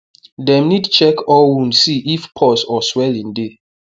dem need check all wound see if pus or swelling dey